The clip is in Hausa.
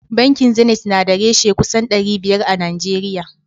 Bankin zenit na da reshe kusan dari biyar a najeriya